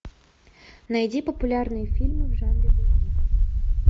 найди популярные фильмы в жанре боевик